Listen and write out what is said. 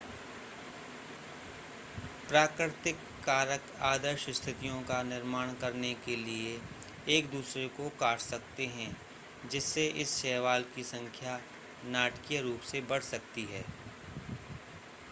प्राकृतिक कारक आदर्श स्थितियों का निर्माण करने के लिए एक दूसरे को काट सकते हैं जिससे इस शैवाल की संख्या नाटकीय रूप से बढ़ सकती है